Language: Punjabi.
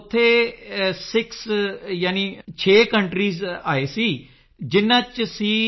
ਉੱਥੇ 6 ਸਿਕਸਕਾਊਂਟਰੀ ਆਏ ਸਨ ਜਿਨਾਂ ਵਿੱਚ ਸੀ